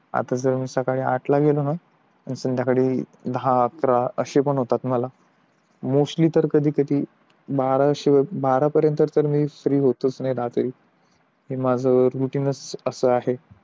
आता जर मी सकाळी आठ ला गेलो ना तर संध्याकाळी दहा अकरा अशे पण होता मला मोस्टली कधी कधी बारा असे बारा पर्यंत फ्री होत नाही मी रात्री माझा रुटीनच असं आहे